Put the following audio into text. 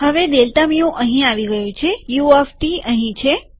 હવે delta mu અહી આવી ગયું છેયુ ઓફ ટી અહીં છે